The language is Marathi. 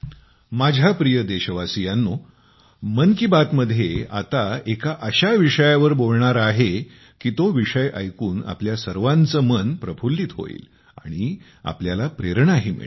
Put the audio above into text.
माझ्या प्रिय देशवासियांनो मन की बात मध्ये आता एका अशा विषयावर बोलणार आहे की तो विषय ऐकून आपल्या सर्वांचे मन प्रफल्लित होईल आणि आपल्याला प्रेरणाही मिळेल